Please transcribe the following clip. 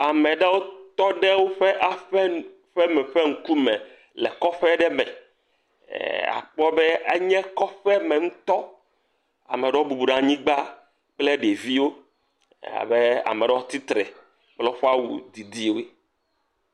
Ame aɖewo tɔ ɖe woƒe aƒe nu ƒeme ƒe ŋku me le kɔƒe aɖe me. Akpɔ be enye kɔƒe ŋutɔ. Ame aɖewo bubu ɖe anyi kple anyigba kple ɖeviwo. Abe ame aɖewo tsitre kle woƒe awu didiwo.